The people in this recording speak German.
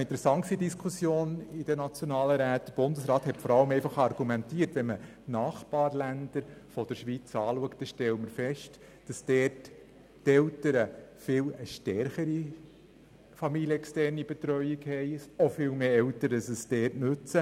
Interessant in der Diskussion in den nationalen Räten war, dass der Bundesrat vor allem argumentiert hat, Eltern in den Nachbarländern der Schweiz hätten eine viel stärkere familienexterne Betreuung und dort würde diese auch von viel mehr Eltern genutzt.